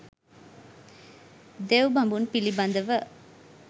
දෙව් බඹුන් පිළිබඳව